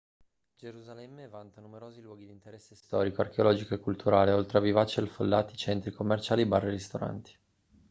gerusalemme vanta numerosi luoghi di interesse storico archeologico e culturale oltre a vivaci e affollati centri commerciali bar e ristoranti